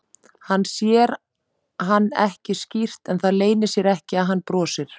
Hann sér hann ekki skýrt en það leynir sér ekki að hann brosir.